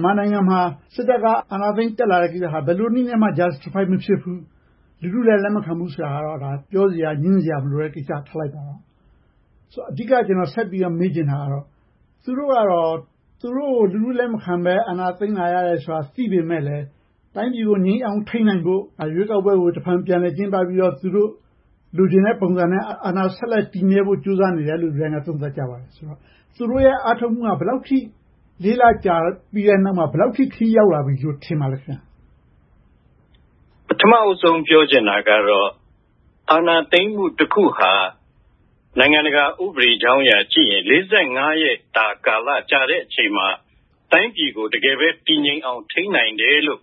်မာနိုင်ငံမှာ စစ်တပ်က အာဏာသိမ်းတက်လာတဲ့ ကိစ္စဟာ ဘယ်လိုနည်းနဲ့မှ justify မဖြစ်ဘူး၊ လူထုလည်း လက်မခံဘူးဆိုတာကိုတော့ ပြောစရာ၊ ငြင်းစရာ မလိုတော့တဲ့ကိစ္စ ဖြစ်ပါတယ်။ အဓိက ကျနော်ဆက်ပြီးတော့ မေးချင်တာကတော့ သူတို့ကို လူထုလက်မခံဘဲ၊ အာဏာသိမ်းလာရတယ်ဆိုတာကို သိပေမယ့်လဲ၊ တိုင်းပြည်ကို ငြိမ်အောင်ထိန်းနိုင်ဖို့ ရွေးကောက်ပွဲကို တဖန်ပြန်လည်ကျင်းပပြီးတော့ သူတို့လိုချင်တဲ့ပုံစံနဲ့ အာဏာဆက်လက်တည်မြဲဖို့ ကြိုးစားနေတယ်လို့ လူတိုင်းက သုံးသပ်ကြပါတယ်။ ဆိုတော့ သူတို့ရဲ့ အားထုတ်မှုဟာ ဘယ်လောက်အထိ လေးလကြာပြီးတဲ့နောက်မှာ ဘယ်လောက်အထိ ခရီးရောက်လာပြီလို့ ထင်ပါသလဲ။ ဖြေ ။ ။ ပထမဦးဆုံး ပြောချင်တာကတော့ အာဏာသိမ်းမှုတခုဟာ နိုင်ငံတကာဥပဒေကြောင်းရာကနေကြည့်ရင် ရက်တာကာလ ကြာတဲ့အချိန်မှာ တိုင်းပြည်ကို တကယ်ပဲ တည်ငြိမ်အောင် ထိန်းနိုင်တယ်လို့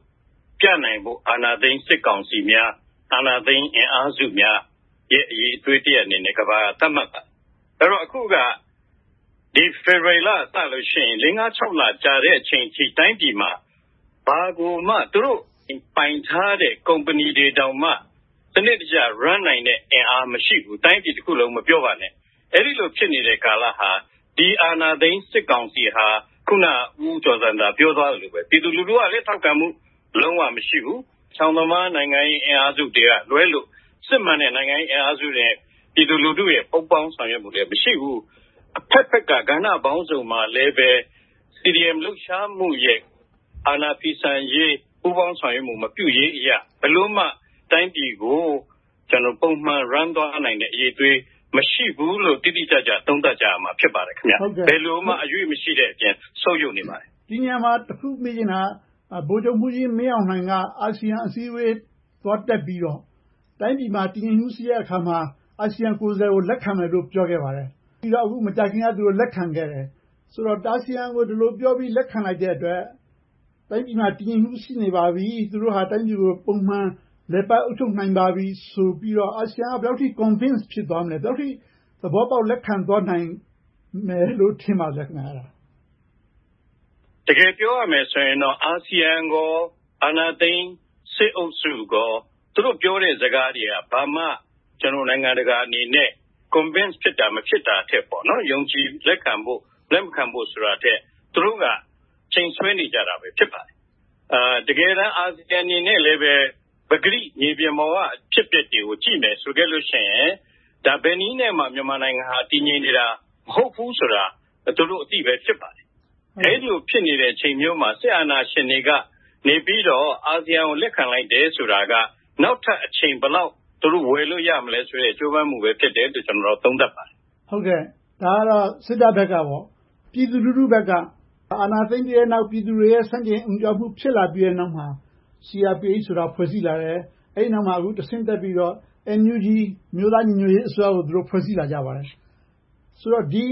ပြနိုင်ဖို့ အာဏာသိမ်းစစ်ကောင်စီများ၊ အာဏာသိမ်းအင်အားစုများရဲ့ အရည်အသွေးတရပ်အနေနဲ့ ကမ္ဘာက သတ်မှတ်ပါတယ်။ အဲဒီတော့ အခုက ဖေဖေါ်ဝါရီလကစရင် လေးငါးလကြာသည့်အထိ တိုင်းပြည်မှာ ဘာကိုမှ သူတို့ပိုင်ထားတဲ့ ကုမ္ပဏီတွေတောင်မှ စနစ်တကျ လည်ပတ်နိုင်တဲ့ အင်အားမရှိဘူး။ တိုင်းပြည်တခုလုံး မပြောပါနဲ့။ အဲဒီလိုဖြစ်နေတဲ့ ကာလဟာ ဒီအာဏာသိမ်းစစ်ကောင်စီဟာ အခုန ဦးကျော်ဇံသာ ပြောသွားသလိုပါပဲ ပြည်သူလူထုကလည်း လုံးဝထောက်ခံမှု မရှိဘူး။ အချောင်သမား နိုင်ငံရေးအင်အားစုတွေကလွဲလို့ စစ်မှန်တဲ့ နိုင်ငံရေးအင်အားစုတွေနဲ့ ပြည်သူလူထုရဲ့ ပူးပေါင်းဆောင်ရွက်မှုလည်း မရှိဘူး။ အဘက်ဘက်က ကဏ္ဍပေါင်းစုံမှာလဲပဲ CDM လှုပ်ရှားမှုရဲ့ အာဏာဖီဆန်ရေး ပူးပေါင်းဆောင်ရွက်ရေး မပြုရေးအရ ဘယ်လိုမှ တိုင်းပြည်ကို ပုံမှန်လည်ပတ်နိုင်တဲ့ အရည်အသွေး မရှိဘူးလို့ တိတိကျကျ သုံးသပ်ကြရမှာ ဖြစ်ပါတယ်။ ဘယ်လိုမှ အရွေ့မရှိတဲ့အပြင် ဆုတ်ယုတ်နေပါတယ်။ မေး ။ ။ ဒီနေရာမှာ တစ်ခုမေးချင်တာက ဗိုလ်ချုပ်မှူးကြီးမင်းအောင်လှိုင်က အာဆီယံအစည်းအဝေး သွားတက်ပြီးတော့ တိုင်းပြည်မှာ တည်ငြိမ်မှုရှိတဲ့အခါမှာ အာဆီယံကိုယ်စားလှယ်ကို လက်ခံမယ်လို့ ပြောခဲ့ပါတယ်။ ပြီးတော့ မကြာသေးခင်က လက်ခံခဲ့တယ်။ အာဆီယံကို ဒီလိုပြောပြီး လက်ခံလိုက်တဲ့အတွက် တိုင်းပြည်မှာ တည်ငြိမ်မှု ရှိနေပါပြီ၊ သူတို့ဟာ တိုင်းပြည်ကို ပုံမှန်လည်ပတ်အုပ်ချုပ်နိုင်ပါပြီဆိုပြီး အာဆီယံက ဘယ်လောက်အထိ Convince သဘောပေါက်လက်ခံသွားမယ်လို့ ထင်ပါသလဲ။ ဖြေ ။ ။ တကယ်ပြောရမယ်ဆိုရင်တော့ အာဆီယံနဲ့ အာဏာသိမ်းစစ်အုပ်စုတို့ ပြောတဲ့စကားတွေက ဘာမှ နိုင်ငံတကာအနေနဲ့ Convince ဖြစ်တာ မဖြစ်တာထက် ယုံကြည်လက်ခံဖို့၊ မလက်ခံဖို့ ဆိုတာထက် သူတို့က အချိန်ဆွဲနေကြတာ ဖြစ်ပါတယ်။ တကယ်တမ်း အာဆီယံအနေနဲ့လဲ ပကတိမြေပြင်ပေါ်က အဖြစ်အပျက်တွေကို ကြည့်မယ်ဆိုရင် ဘယ်နည်းနဲ့မှ မြန်မာနိုင်ငံဟာ တည်ငြိမ်နေတယ်ဆိုတာ မဟုတ်ဘူးဆိုတာကို သူတို့အသိပဲ ဖြစ်ပါတယ်။ အဲဒီလို ဖြစ်နေတဲ့ အချိန်မျိုးမှာ စစ်အာဏာရှင်တွေက အာဆီယံကို လက်ခံလိုက်တယ်ဆိုတာက နောက်ထပ်အချိန် ဘယ်လောက်ဝယ်လို့ရမလဲဆိုတဲ့ ကြိုးပမ်းမှုပဲ ဖြစ်တယ်လို့ ကျနော့်အနေနဲ့ သုံးသပ်ပါတယ်။ မေး ။ ။ ဒါကတော့ စစ်တပ်ဘက်ကပေါ့။ ပြည်သူလူထုဘက်က အာဏာသိမ်းပြီးတဲ့နောက် ပြည်သူတွေရဲ့ ဆန့်ကျင်အုံကြွမှု ဖြစ်လာခဲ့ပြီးနောက်မှာ CRPH ဆိုတာ ဖွဲ့စည်းလာတယ်။ အဲဒီနောက်မှာ တဆင့်တက်ပြီးတော့ NUG အမျိုးသားညီညွှတ်ရေးအစိုးရကို ဖွဲ့စည်းလာကြပါတယ်။ ဆိုတော့ ဒီ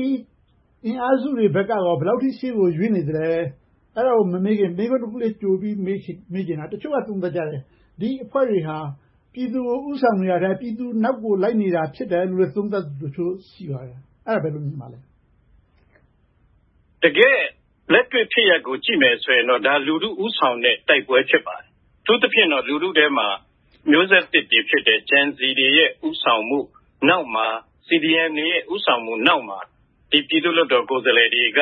အင်အားစုတွေဘက်က ဘယ်လောက်အထိ ရှေ့ကိုရွေ့နေသလဲ။ အဲဒါကို မမေးခင်၊ မေးခွန်းတခုလေး ကြိုပြီးတော့ မေးချင်တာက တချို့က သုံးသပ်ကြတယ်။ ဒီအဖွဲ့တွေဟာ ပြည်သူကို ဦးဆောင်နေတာထက်၊ ပြည်သူနောက်ကို လိုက်နေတာ ဖြစ်တယ်လို့ သုံးသပ်မှုတွေ ရှိပါတယ်။ အဲဒါကို ဘယ်လိုမြင်ပါသလဲ။ ဖြေ ။ ။ တကယ်လက်တွေ့ဖြစ်ရပ်ကို ကြည့်မယ်ဆိုရင်တော့ ဒါက လူထုဦးဆောင်နေတဲ့ တိုက်ပွဲ ဖြစ်ပါတယ်။ အထူးသဖြင့်တော့ လူထုထဲမှာ မျိုးဆက်သစ်တွေဖြစ်တဲ့ Gen Z တွေရဲ့ ဦးဆောင်မှုနောက်မှာ CDM တွေရဲ့ ဦးဆောင်မှုနောက်မှာ ပြည်သူ့လွှတ်တော်ကိုယ်စားလှယ်တွေက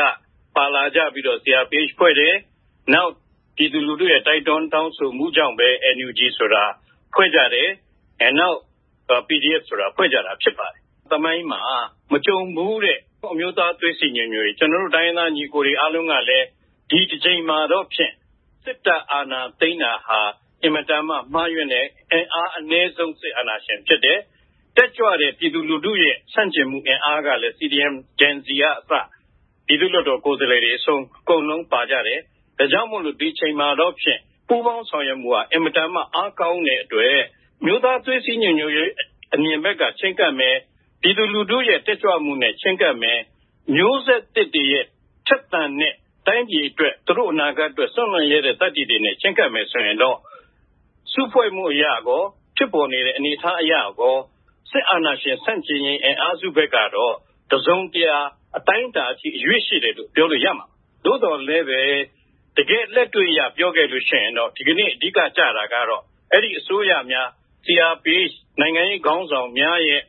ပါလာကြပြီးတော့ CRPH ဖွဲ့စည်းတယ်။ နောက် ပြည်သူလူထုရဲ့ တိုက်တွန်းတောင်းဆိုမှုကြောင့်ပဲ NUG ဆိုတာ ဖွဲ့ကြတယ်။ နောက် PDF ဆိုတာ ဖွဲ့ကြတာ ဖြစ်ပါတယ်။ သမိုင်းမှာ မကြုံဖူးတဲ့ အမျိုးသားသွေးစည်းညီညွှတ်ရေး။ ကျနော်တို့ တိုင်းရင်းသားညီအကိုတွေ အားလုံးကလည်း ဒီတကြိမ်မှာတော့ဖြစ် စစ်တပ်အာဏာသိမ်းတာဟာ အင်မတန်မှ မှားယွင်းတယ်။ အင်အားအနည်းဆုံး စစ်အာဏာရှင် ဖြစ်တယ်။ တက်ကြွတဲ့ ပြည်သူထုရဲ့အင်အားကလဲ CDM, Gen Z က အစ ပြည်သူ့လွှတ်တော်ကိုယ်စားလှယ်တွေအဆုံး အကုန်လုံးပါဝင်နေကြတယ်။ ဒါကြောင့်မို့ ဒီအချိန်မှာတော့ ပူးပေါင်းဆောင်ရွက်မှုက အင်မတန်မှ အားကောင်းတဲ့အတွက် အမျိုးသားသွေးစည်းညီညွှတ်ရေး အမြင်ဘက်က ချဉ်းကပ်မယ်၊ ပြည်သူလူထုရဲ့ တက်ကြွမှုနဲ့ ချဉ်းကပ်မယ်။ မျိုးဆက်သစ်တွေရဲ့ ထက်သန်တဲ့ တိုင်းပြည်အတွက် သူတို့အနာဂတ်အတွက် စွန့်လွှတ်ရဲတဲ့ သတ္တိတွေနဲ့ ချဉ်းကပ်မယ်ဆိုရင်တော့ အစုအဖွဲ့အရကော၊ ဖြစ်ပေါ်နေတဲ့ အနေအထားအရကော စစ်အာဏာရှင် ဆန့်ကျင်ရေးအင်အားစုဘက်ကတော့ တစုံတရာ၊ အတိုင်းအတာအထိ အရွေ့ရှိတယ်လို့ ပြောလို့ရပါတယ်။ သို့သော်လဲပဲ တကယ်လက်တွေ့အရ ပြောရမယ်ဆိုရင်တော့ ဒီကနေ့ အဓိကကျတာကတော့ အဲဒီအစိုးရများ CRPH နိုင်ငံရေးခေါင်းဆောင်များရဲ့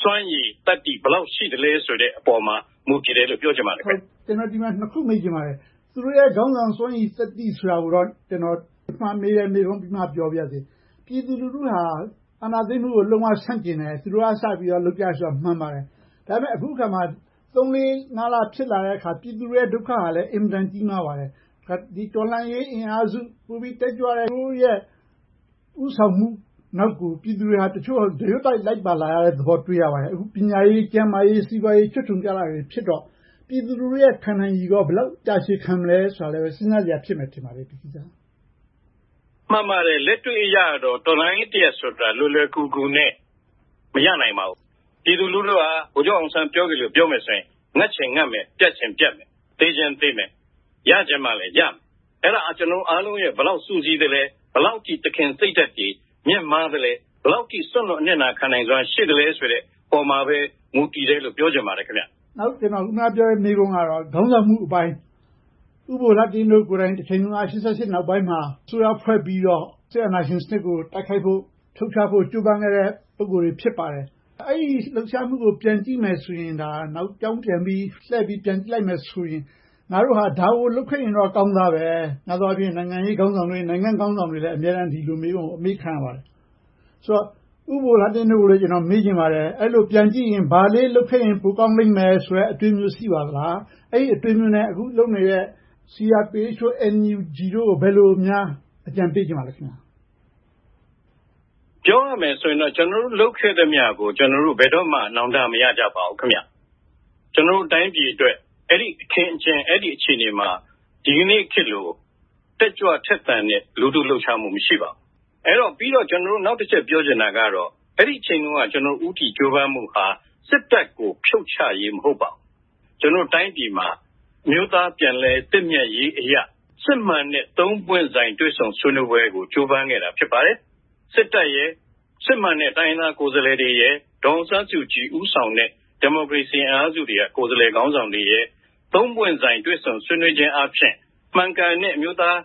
စွမ်းရည်သတ္တိ ဘယ်လောက်ရှိသလဲဆိုတဲ့ပေါ်မှာ မူတည်တယ်လို့ ပြောချင်ပါတယ်။ မေး ။ ။ ကျနော် ဒီနေရာမှာ နှစ်ခုမေးချင်ပါတယ်။ သူတို့ရဲ့ စွမ်းရည်သတ္တိဆိုတာကိုတော့ ကျနော် ပထမဦးဆုံးမေးတဲ့ မေးခွန်းပြီးမှ မေးပါရစေ။ ပြည်သူလူထုဟာ အာဏာသိမ်းမှုကို လုံးဝဆန့်ကျင်တယ်။ သူတို့ကစပြီးတော့ လုပ်ကြတယ်ဆိုတာ မှန်ပါတယ်။ ဒါပေမဲ့ အခုအခါမှာ သုံးလေးငါးလ ဖြစ်လာတဲ့အခါမှာ ပြည်သူလူထုရဲ့ ဒုက္ခဟာလဲ အင်မတန်ကြီးမားပါတယ်။ တော်လှန်ရေးအင်အားစု ပိုပြီးတက်ကြွတဲ့ ဦးဆောင်မှုနောက်ကို ပြည်သူတွေက ဒရွတ်တိုက်လိုက်ပါလာရတဲ့သဘော တွေ့ရပါတယ်။ ပညာရေး၊ ကျန်းမာရေး၊ စီးပွားရေး ချွတ်ခြုံကျတာတွေ တွေ့နေရတော့ ပြည်သူလူထုရဲ့ ခံနည်းရည် ဘယ်လောက်အထိ တာရှည်ခံနိုင်မလဲဆိုတာလဲ စဉ်းစားစရာ ဖြစ်ပါတယ်။ ဖြေ ။ ။ မှန်ပါတယ်။ လက်တွေ့အရတော့ တော်လှန်ရေးတရပ်ဆိုတာ လွယ်လွယ်ကူကူနဲ့ မရနိုင်ပါဘူး။ ပြည်သူလူထုဟာ ဗိုလ်ချုပ်အောင်ဆန်း ပြောသလို ပြောမယ်ဆိုရင် ငတ်ချင်ငတ်မယ်၊ ပြတ်ချင်ပြတ်မယ်၊ သေချင်သေမယ်၊ ရချင်မှလဲရမယ်။ အဲဒါ ကျနော်တို့အားလုံး ဘယ်လောက်စုစည်းသလဲ၊ ဘယ်လောက်အထိ သခင်စိတ်ဓါတ်တွေ မြင့်မားသလဲ။ ဘယ်လောက်အထိ စွန့်လွှတ်အနစ်နာခံနိုင်မှု ရှိသလဲဆိုတဲ့ပေါ်မှာပဲ မူတည်တယ်လို့ ပြောချင်ပါတယ်။ မေး ။ ။ နောက် ကျနော် အခုနမေးခွန်းကတော့ ခေါင်းဆောင်မှုအပိုင်း။ ဦးဘိုလှတင့်တို့ကိုယ်တိုင် ၈၈ နောက်ပိုင်းမှာ အစိုးရဖွဲ့ပြီးတော့ စစ်အာဏာရှင်စနစ်ကို တိုက်ခိုက်ဖို့၊ ဖြုတ်ချဖို့ ကြိုးပမ်းခဲ့တဲ့ ပုဂ္ဂိုလ်တွေ ဖြစ်ပါတယ်။ အဲဒီလှုပ်ရှားမှုကို ပြန်ကြည့်မယ်ဆိုရင် နောက်ကြောင်းပြန်ပြီးလှည့်ပြီးကြည့်မယ်ဆိုရင် ငါတို့ဟာ ဒါကိုလုပ်ခဲ့ရင်တော့ ကောင်းသားပဲ။ များသောအားဖြင့် နိုင်ငံရေးခေါင်းဆောင်တွေ၊ နိုင်ငံရေးခေါင်းဆောင်တွေလဲ ဒီမေးခွန်းကို အမေးခံရပါတယ်။ ဆိုတော့ ဦးဘိုလှတင့်တို့ကိုလည်း ကျနော်မေးချင်ပါတယ်။ အဲဒီလိုပြန်ကြည့်ပြီး ဘာလေးလုပ်ခဲ့ရင် ပိုကောင်းခဲ့မယ်ဆိုတဲ့ အတွေးမျိုး ရှိပါသလား။ အဲဒီအတွေးမျိုးနဲ့ အခုလုပ်နေတဲ့ CRPH တို့၊ NUG တို့ကို ဘယ်လိုများ အကြံပေးချင်ပါလဲ။ ဖြေ ။ ။ ပြောရမယ်ဆိုရင်တော့ ကျနော်တို့ လုပ်ခဲ့သမျှကို ကျနော်တို့ ဘယ်တော့မှ နောင်တမရကြပါဘူး။ ကျနော်တို့ တိုင်းပြည်အတွက် အဲဒီအခင်းအကျင်း၊ အဲဒီအခြေအနေမှာ ဒီကနေ့ခေတ်လို တက်ကြွထက်သန်တဲ့ လူထုလှုပ်ရှားမှု မရှိခဲ့ပါဘူး။ နောက်တချက် ပြောချင်တာကတော့ အဲဒီအချိန်တုန်းက ဦးတည်ကြိုးပမ်းမှုဟာ စစ်တပ်ကို ဖြုတ်ချရေး မဟုတ်ပါဘူး။ ကျနော်တို့ တိုင်းပြည်မှာ အမျိုးသားပြန်လည်သင့်မြတ်ရေးအရ စစ်မှန်တဲ့ သုံးပွင့်ဆိုင် တွေ့ဆုံဆွေးနွေးရေးကို ကြိုးပမ်းခဲ့တာ ဖြစ်ပါတယ်။ စစ်တပ်၊ စစ်မှန်တဲ့ တိုင်းရင်းသားကိုယ်စားလှယ်တွေ၊ ဒေါ်အောင်ဆန်းစုကြည် ဦးဆောင်တဲ့ ဒီမိုကရေစီအင်အားစုတွေက ကိုယ်စားလှယ်ခေါင်းဆောင်တွေ သုံးပွင့်ဆိုင် တွေ့ဆုံဆွေးနွေးခြင်းအားဖြင့် မှန်ကန်တဲ့ အမျိုးသား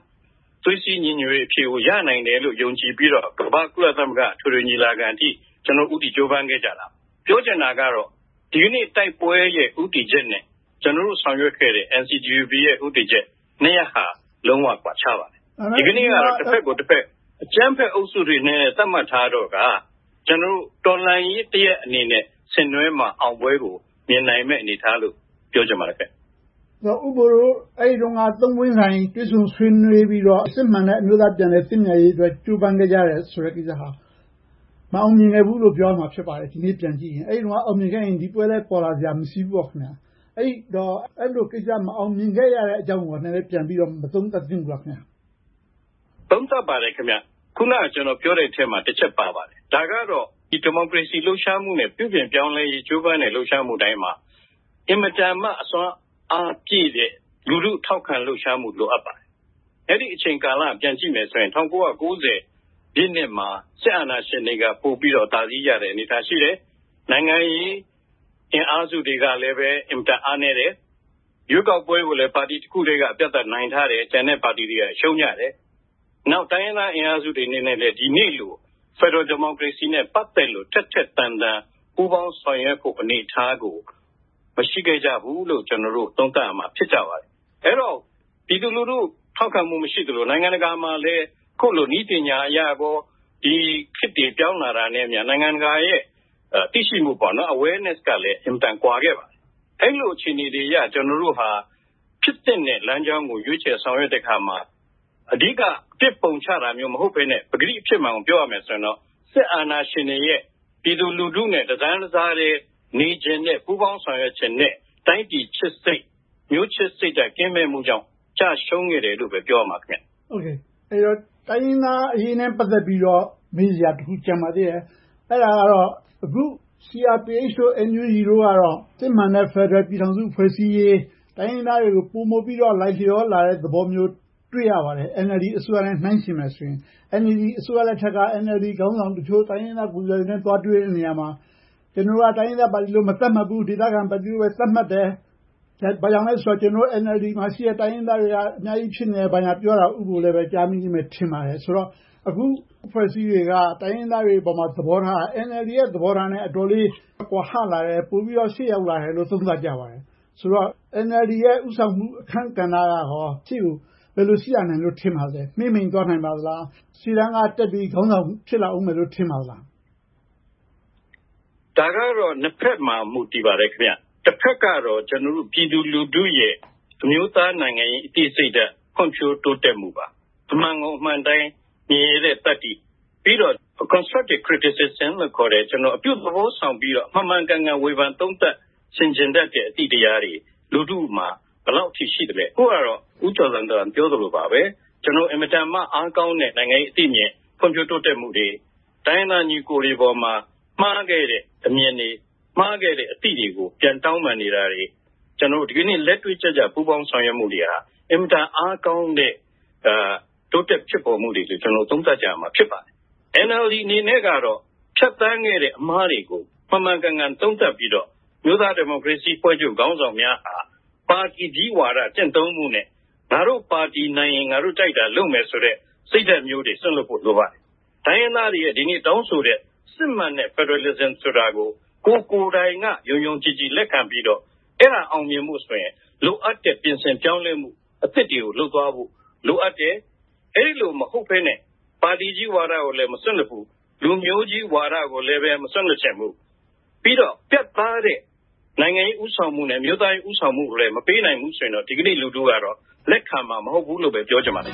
သွေးစည်းညီညွှတ်ရေးကို ရနိုင်တယ်လို့ ယုံကြည်ပြီးတော့ ကမ္ဘာ့ကုလသမဂ္ဂ ညီလာခံအထိ ကျနော်တို့ ဦးတည်ကြိုးပမ်းခဲ့ကြတာ။ ပြောချင်တာကတော့ ဒီကနေ့ တိုက်ပွဲရဲ့ ဦးတည်ချက်နဲ့ ကျနော်တို့ ဆောင်ရွက်ခဲ့တဲ့ NCGUB ရဲ့ ဦးတည်ချက်နှစ်ရပ်ဟာ လုံးဝကွာခြားပါတယ်။ ဒါပေမဲ့ ဒီကနေ့က တဘက်ကိုတဘက် အကြမ်းဖက်အုပ်စုတွေအဖြစ် သတ်မှတ်ထားတော့က တော်လှန်ရေးတရပ်အနေနဲ့ ဆင်နွှဲမှ အောင်ပွဲကို မြင်နိုင်မယ့်အနေအထားလို့ ပြောချင်ပါတယ်။ မေး ။ ။ ဦးဘိုတို့ အဲဒီတုန်းက သုံးပွင့်ဆိုင် တွေ့ဆုံပြီးတော့ စစ်မှန်တဲ့ အမျိုးသားပြန်လည်သင့်မြတ်ရေးအတွက် ကြိုးပမ်းခဲ့ကြတယ်ဆိုတဲ့ကိစ္စဟာ မအောင်မြင်ဘူးလို့ ပြောရမှာ ဖြစ်ပါတယ်။ ဒီကနေ့ ပြန်ကြည့်ရင်။ အဲဒီတုန်းက အောင်မြင်ခဲ့ရင် ဒီပွဲလဲ ပေါ်လာစရာ မရှိဘူးပေါ့။ အဲဒီလိုကိစ္စ မအောင်မြင်ခဲ့ရတဲ့အကြောင်းကို နည်းနည်းပြန်မသုံးသပ်သင့်ဘူးလား။ ဖြေ ။ ။ သုံးသပ်ပါတယ်။ အခုန ကျနော်ပြောတဲ့အထဲမှာ တချက်ပါပါတယ်။ ဒါကတော့ ဒီမိုကရေစီ လှုပ်ရှားမှုနဲ့ ပြုပြင်ပြောင်းလဲရေး ကြိုးပမ်းမှု လှုပ်ရှားမှုတိုင်းမှာ အင်မတန်မှ အစွမ်းအားပြည့်တဲ့ လူထုထောက်ခံမှု လိုအပ်ပါတယ်။ အဲဒီကာလကို ပြန်ကြည့်မယ်ဆိုရင် ၁၉၉၀ ပြည့်နှစ်မှာ စစ်အာဏာရှင်တွေက ပိုပြီးတော့ အသာစီးရတဲ့ အနေအထား ရှိတယ်။ နိုင်ငံရေးအင်အားစုတွေကလဲ အင်မတန်အားနည်းတယ်။ ရွေးကောက်ပွဲကိုလဲ ပါတီတခုတည်းကပဲ အပြတ်အသတ် နိုင်ထားတယ်။ ကျန်တဲ့ပါတီတွေက ရှုံးကြတယ်။ နောက် တိုင်းရင်းသားအင်အားစုတွေအနေနဲ့လဲ ဒီနေ့လို ဖယ်ဒရယ်ဒီမိုကရေစီနဲ့ ပတ်သက်လို့ ထက်ထက်သန်သန် ပူးပေါင်းဆောင်ရွက်ဖို့ အနေအထားကို မရှိခဲ့ကြဘူးလို့ ကျနော်တို့ သုံးသပ်ရမှာ ဖြစ်ပါတယ်။ အဲဒီတော့ ပြည်သူလူထု ထောက်ခံမှု မရှိသလို၊ နိုင်ငံတကာမှာလဲ အခုလို နည်းပညာအရကော၊ ခေတ်တွေပြောင်းလဲလာတာနဲ့အမျှ နိုင်ငံတကာရဲ့ သိရှိမှု awareness ကလဲ အင်မတန်ကွာခဲ့ပါတယ်။ အဲဒီလို အခြေအနေတွေအရ ကျနော်တို့ဟာ ဖြစ်သင့်တဲ့ လမ်းကြောင်းကို ရွေးချယ်ဆောင်ရွက်တဲ့အခါမှာ အဓိက အပြစ်ပုံချတာမျိုး မဟုတ်ဘဲနဲ့ ပကတိ အဖြစ်မှန်ကို ပြောရမယ်ဆိုရင်တော့ စစ်အာဏာရှင်တွေရဲ့ ပြည်သူလူထုနဲ့ တတန်းတစားတည်း နေချင်တဲ့၊ ပူးပေါင်းဆောင်ရွက်ချင်တဲ့ တိုင်းပြည်ချစ်စိတ်၊ မျိုးချစ်စိတ်ဓါတ် ကင်းမဲ့မှုကြောင့် ကျရှုံးခဲ့ရတယ်လို့ပဲ ပြောရမယ်။ မေး ။ ။ အဲဒီတော့ တိုင်းရင်းသားအရေးနဲ့ ပတ်သက်ပြီးတော့ မေးစရာတခု ကျန်ပါသေးတယ်။ အဲဒါကတော့ အခု CRPH, NUG တို့ကတော့ စစ်မှန်တဲ့ ဖယ်ဒရယ်ပြည်ထောင်စု ဖွဲ့စည်းရေး၊ တိုင်းရင်းသားတွေကို ပိုမိုပြီးတော့ လိုက်လျောလာတဲ့သဘောမျိုးကို တွေ့ရပါတယ်။ NLD အစိုးရနဲ့ နှိုင်းယှဉ်မယ်ဆိုရင် NLD အစိုးရ လက်ထက်က NLD ခေါင်းဆောင်တချို့ တိုင်းရင်းသားကိုယ်စားလှယ်တွေနဲ့ သွားတွေ့တဲ့အခါမှာ ကျနော်တို့က တိုင်းရင်းသားပါတီလို့ မသတ်မှတ်ဘူး၊ ဒေသခံပါတီလို့ပဲ သတ်မှတ်တယ်။ ဘာကြောင့်လဲဆိုတော့ ကျနော်တို့ NLD မှာ ရှိနေတဲ့ တိုင်းရင်းသားတွေက အများကြီးဖြစ်တယ်။ ဘာညာပြောတာကို ဦးဘိုလဲ ကြားမိမယ်ထင်ပါတယ်။ အဲဒီတော့ အခုအဖွဲ့အစည်းတွေက တိုင်းရင်းသားတွေအပေါ် သဘောထားက NLD ရဲ့ သဘောထားနဲ့ အတော်လေး ကွာဟလာတယ်။ ပိုပြီးတော့ ရှေ့ရောက်လာတယ်လို့ သုံးသပ်ကြပါတယ်။ ဆိုတော့ NLD ရဲ့ ဦးဆောင်မှု အခန်းကဏ္ဍက ရှေ့ကို ဘယ်လိုရှိလာနိုင်မယ်လို့ ထင်ပါသလဲ။ မှေးမှိန်သွားနိုင်ပါသလား။ ရှေ့တန်းကတက်ပြီး ခေါင်းဆောင်ဖြစ်လာအုံးမယ်လို့ ထင်ပါသလား။ ဖြေ ။ ။ ဒါကတော့ နှစ်ဘက်မှာ မူတည်ပါတယ်။ တဘက်ကတော့ ပြည်သူလူထုရဲ့ အမျိုးသားနိုင်ငံရေး အသိစိတ်ဓါတ် ဖွံ့ဖြိုးတိုးတက်မှုပါ။ အမှန်ကိုအမှန်အတိုင်း မြင်ရဲတဲ့သတ္တိ။ ပြီးတော့ Constructive Criticism လို့ခေါ်တဲ့ အပြုသဘောဆောင်ပြီးတော့ မှန်မှန်ကန်ကန် ဝေဖန်သုံးသပ် ဆင်ခြင်တတ်တဲ့ အသိတရားတွေ လူထုမှာ ဘယ်လောက်အထိ ရှိသလဲ။ အခုကတော့ ဦးကျော်ဇံသာ ပြောသလိုပါပဲ၊ အင်မတန်မှ အားကောင်းတဲ့ နိုင်ငံရေးအသိအမြင်၊ ဖွံ့ဖြိုးတိုးတက်မှုတွေ၊ တိုင်းရင်းသားညီအကိုတွေပေါ်မှာ မှားခဲ့တဲ့ အမြင်တွေ၊ မှားခဲ့တဲ့ အသိတွေကို ပြန်တောင်းပန်နေတာတွေ ကျနော်တို့ ဒီကနေ့ လက်တွေ့ကျကျ ပူးပေါင်းဆောင်ရွက်မှုတွေက အင်မတန်မှ အားကောင်းတဲ့ တိုးတက်ဖြစ်ပေါ်မှုတွေလို့ ကျနော်တို့ သုံးသပ်ကြရမှာ ဖြစ်ပါတယ်။ NLD အနေနဲ့ကတော့ ဖြတ်သန်းခဲ့တဲ့ အမှားတွေကို မှန်မှန်ကန်ကန် သုံးသပ်ပြီးတော့ အမျိုးသားဒီမိုကရေစီအဖွဲ့ချုပ် ခေါင်းဆောင်များဟာ ပါတီကြီးဝါဒ ကျင့်သုံးမှုနဲ့ ငါတို့ပါတီနိုင်ရင် ငါတို့ကြိုက်တာလုပ်မယ်ဆိုတဲ့ စိတ်ဓါတ်မျိုးတွေ စွန့်လွှတ်ဖို့ လိုပါတယ်။ တိုင်းရင်းသားတွေရဲ့ ဒီနေ့တောင်းဆိုနေတဲ့ စစ်မှန်တဲ့ ဖယ်ဒရယ်စနစ်ကို ကိုယ်တိုင်က ယုံယုံကြည်ကြည် လက်ခံပြီးတော့ အဲဒါအောင်မြင်ဖို့ဆိုရင် လိုအပ်တဲ့ ပြင်ဆင်ပြောင်းလဲမှု အသစ်တွေကို လုပ်သွားဖို့ လိုအပ်တယ်။ အဲဒီလို မဟုတ်ဘဲနဲ့ ပါတီကြီးဝါဒကိုလည်း မစွန့်လွှတ်ဘူး၊ လူမျိုးကြီးဝါဒကိုလည်း မစွန့်လွှတ်ချင်ဘူး၊ ပြီးတော့ ပြတ်သားတဲ့ နိုင်ငံရေးဦးဆောင်မှုနဲ့ အမျိုးသားရေး ဦးဆောင်မှုကိုလည်း မပေးဆောင်နိုင်ဘူးဆိုရင်တော့ ဒီကနေ့ လူထုကတော့ လက်ခံမှာ မဟုတ်ဘူးလို့ပဲ ပြောချင်ပါတယ်